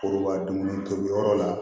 Kuru ka dumuni tobi yɔrɔ la